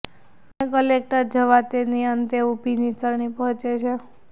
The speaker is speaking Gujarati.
અમે કલેક્ટર જવા તેની અંતે ઊભી નિસરણી પહોંચે છે